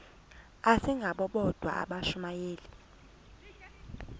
asingabo bodwa abashumayeli